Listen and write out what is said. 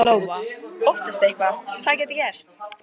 Lóa: Óttastu eitthvað, hvað gæti gerst?